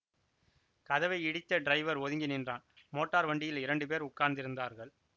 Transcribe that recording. கதவை இடித்த டிரைவர் ஒதுங்கி நின்றான் மோட்டார் வண்டியில் இரண்டு பேர் உட்கார்ந்திருந்தார்கள்